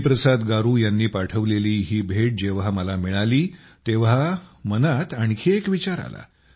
हरिप्रसाद गारू यांनी पाठवलेली ही भेट जेव्हा मला मिळाली तेव्हा मनात आणखी एक विचार आला